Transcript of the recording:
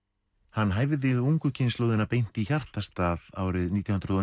hann hæfði ungu kynslóðina beint í hjartastað árið nítján hundruð og